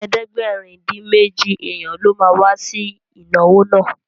Ẹgbẹ̀rin-dín-méjì èèyàn ló ma wá sí ìnáwó náà